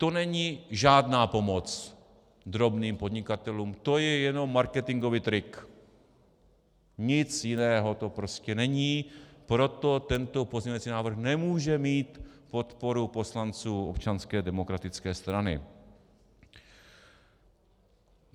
To není žádná pomoc drobným podnikatelům, to je jenom marketingový trik, nic jiného to prostě není, proto tento pozměňovací návrh nemůže mít podporu poslanců Občanské demokratické strany.